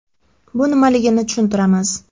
Bu nimaligini tushuntiramiz.